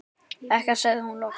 Ekkert, segir hún loks.